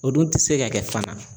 O dun tɛ se ka kɛ fana.